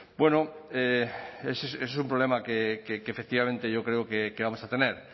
bueno eso es un problema que efectivamente yo creo que vamos a tener